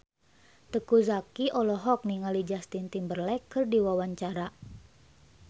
Teuku Zacky olohok ningali Justin Timberlake keur diwawancara